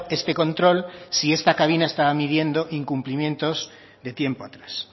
este control si esta cabina estaba midiendo incumplimientos de tiempo atrás